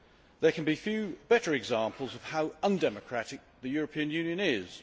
There can be few better examples of how undemocratic the European Union is.